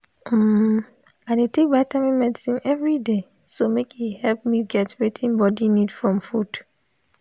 um i dey take vitamin medicine everyday so make e help me get wetin body need from food